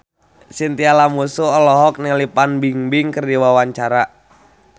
Chintya Lamusu olohok ningali Fan Bingbing keur diwawancara